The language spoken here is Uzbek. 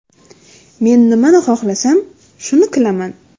Men nimani xohlasam, shuni qilaman.